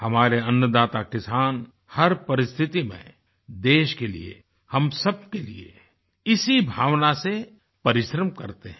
हमारे अन्नदाता किसान हर परिस्थिति में देश के लिए हम सब के लिए इसी भावना से परिश्रम करते हैं